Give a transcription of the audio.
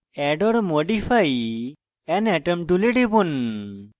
add or modify an atom tool টিপুন